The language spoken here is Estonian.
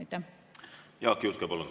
Jaak Juske, palun!